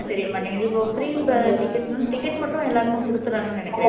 தெரிய மாட்டேங்குது இப்போ free ticket நால ticket மட்டும் எல்லாருக்கும் கொடுத்துடுறாங்கன்னு நினைக்குறேன்